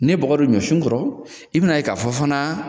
Ni ye bɔgɔ don ɲɔsun kɔrɔ, i bina yen ka fɔ fana